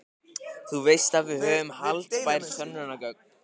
Þú veist að við höfum haldbær sönnunargögn.